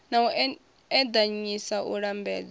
na u eḓanyisa u lambedzwa